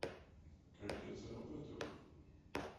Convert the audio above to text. как я зарабатываю